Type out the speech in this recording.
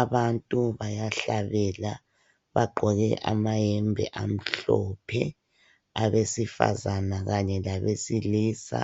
Abantu bayahlabela bagqoke amayembe amhlophe, abesifazana kanye labesilisa.